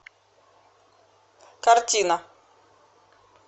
картина